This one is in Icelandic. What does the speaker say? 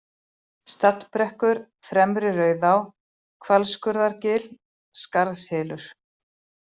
Stallbrekkur, Fremri-Rauðá, Hvalskurðargil, Skarðshylur